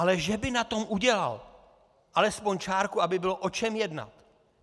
Ale že by na tom udělal alespoň čárku, aby bylo o čem jednat!